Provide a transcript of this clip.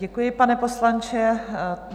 Děkuji, pane poslanče.